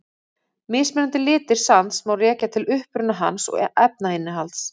Mismunandi litir sands má rekja til uppruna hans og efnainnihalds.